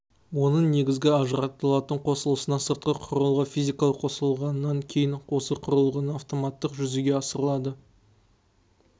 оның негізгі ажыратылатын қосылысына сыртқы құрылғы физикалық қосылғаннан кейін осы құрылғының автоматтық жүзеге асырылады